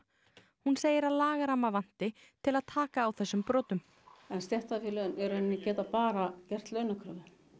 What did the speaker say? hún segir að lagaramma vanti til að taka á þessum brotum stéttarfélögin geta bara gert launakröfu